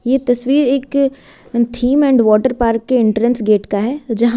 ये तस्वीर एक थीम एंड वाटर पार्क के एंट्रेंस गेट का है जहां--